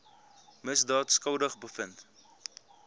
misdaad skuldig bevind